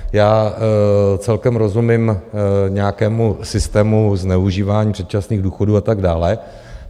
Já celkem rozumím nějakému systému zneužívání předčasných důchodů a tak dále.